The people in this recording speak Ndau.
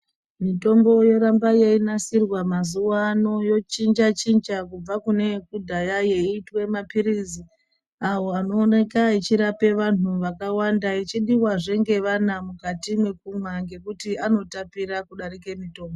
Mitombo yoramba yeinasirwa mazuwa ano yochinja chinja kubva kune yekudhaya yeitwa mapirizi awo anooneka yeirapa antu akawanda ichidiwazve munenge vana mukati mekumwa ngekuti anotapira kudarika mutombo.